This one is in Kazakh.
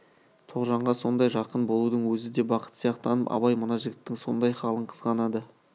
тоғжанға сондай жақын болудың өзі де бақыт сияқтанып абай мына жігіттің сондай халын қызғанады